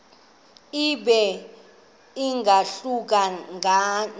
ibe ingahluka nanga